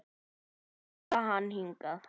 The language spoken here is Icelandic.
Að draga hann hingað.